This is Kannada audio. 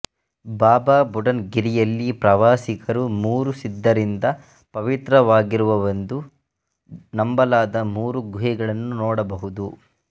ಬಾಬಾ ಬುಡನ್ ಗಿರಿಯಲ್ಲಿ ಪ್ರವಾಸಿಗರು ಮೂರು ಸಿದ್ಧರಿಂದ ಪವಿತ್ರವಾಗಿರುವವೆಂದು ನಂಬಲಾದ ಮೂರು ಗುಹೆಗಳನ್ನು ನೋಡಬಹುದು